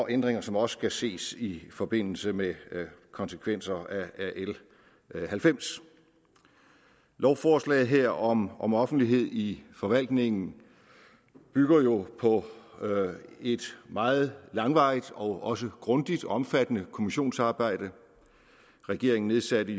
ændringer som også skal ses i forbindelse med konsekvenser af l halvfems lovforslaget her om om offentlighed i forvaltningen bygger jo på et meget langvarigt og også grundigt og omfattende kommissionsarbejde regeringen nedsatte